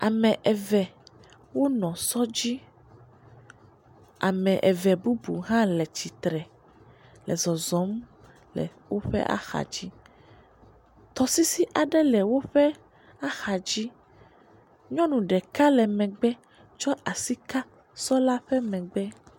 Ame eve wonɔ sɔdzi. Ame eve bubu hã le tsitre le zɔzɔm le woƒe axadzi. Tɔsisi aɖe le woƒe axadzi. Nyɔnu ɖeka le megbe tsɔ asi ka sɔla ƒe megbe.